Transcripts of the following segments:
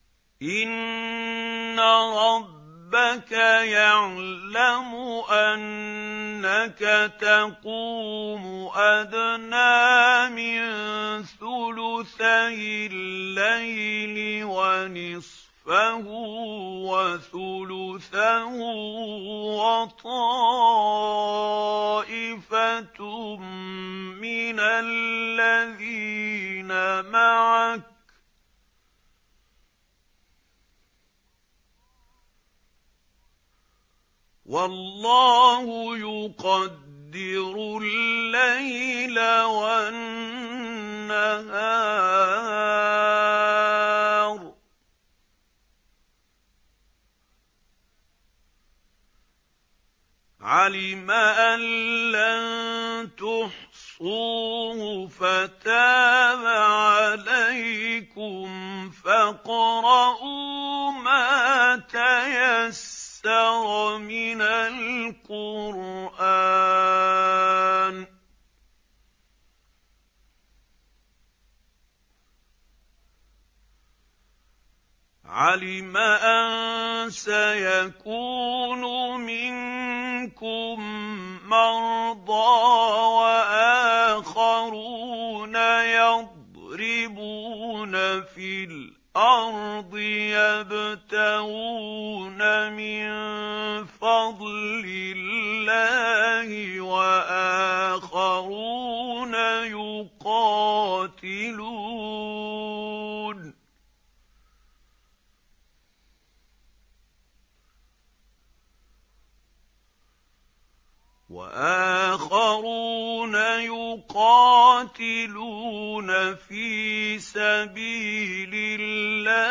۞ إِنَّ رَبَّكَ يَعْلَمُ أَنَّكَ تَقُومُ أَدْنَىٰ مِن ثُلُثَيِ اللَّيْلِ وَنِصْفَهُ وَثُلُثَهُ وَطَائِفَةٌ مِّنَ الَّذِينَ مَعَكَ ۚ وَاللَّهُ يُقَدِّرُ اللَّيْلَ وَالنَّهَارَ ۚ عَلِمَ أَن لَّن تُحْصُوهُ فَتَابَ عَلَيْكُمْ ۖ فَاقْرَءُوا مَا تَيَسَّرَ مِنَ الْقُرْآنِ ۚ عَلِمَ أَن سَيَكُونُ مِنكُم مَّرْضَىٰ ۙ وَآخَرُونَ يَضْرِبُونَ فِي الْأَرْضِ يَبْتَغُونَ مِن فَضْلِ اللَّهِ ۙ وَآخَرُونَ يُقَاتِلُونَ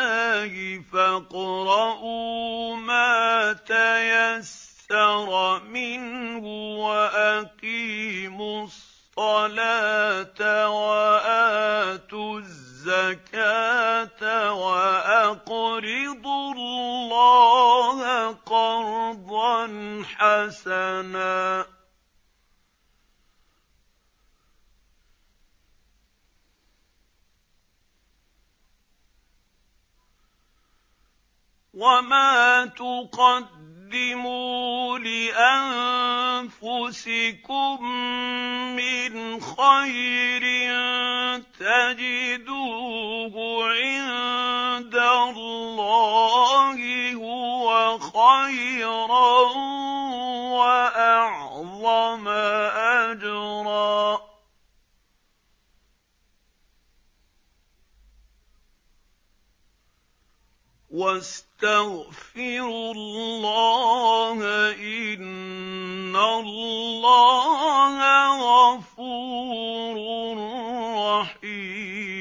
فِي سَبِيلِ اللَّهِ ۖ فَاقْرَءُوا مَا تَيَسَّرَ مِنْهُ ۚ وَأَقِيمُوا الصَّلَاةَ وَآتُوا الزَّكَاةَ وَأَقْرِضُوا اللَّهَ قَرْضًا حَسَنًا ۚ وَمَا تُقَدِّمُوا لِأَنفُسِكُم مِّنْ خَيْرٍ تَجِدُوهُ عِندَ اللَّهِ هُوَ خَيْرًا وَأَعْظَمَ أَجْرًا ۚ وَاسْتَغْفِرُوا اللَّهَ ۖ إِنَّ اللَّهَ غَفُورٌ رَّحِيمٌ